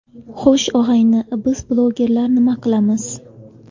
Xo‘sh, og‘ayni, biz blogerlar nima qilamiz?